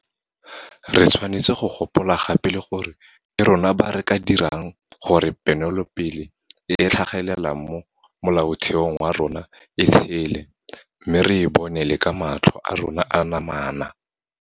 Re tshwanetse go gopola gape le gore ke rona ba re ka dirang gore ponelopele e e tlhagelelang mo Molaotheong wa rona e tshele mme re e bone le ka matlho a rona a namana.